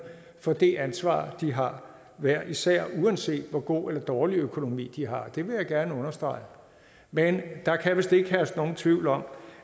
for det ansvar de har hver især uanset hvor god eller dårlig økonomi de har det vil jeg gerne understrege men der kan vist ikke herske nogen tvivl om